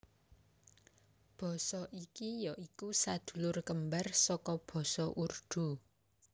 Basa iki ya iku sadulur kembar saka Basa Urdu